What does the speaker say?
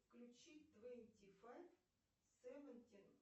включи твенти файв севентин